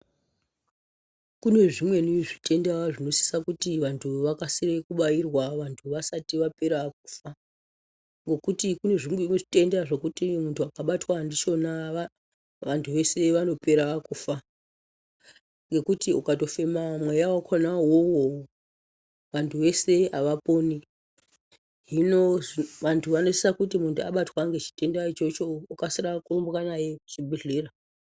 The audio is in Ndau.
Kune zvimweni zvitenda zvinosisa kuti vantu vakasire kubairwa vantu vasati vapera kufa. Ngekuti kune zvitenda zvekuti muntu akabatwa ndichona vantu vese vanopera kufa. Ngekuti ukatofema mweya vakona ivovo vantu vese havaponi. Hino vantu vanosisa kuti muntu abatwa ngechitenda ichocho okasira kurumbwa naye kuchibhedhlera.